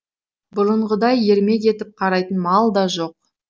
бұрынғыдай ермек етіп қарайтын мал да жоқ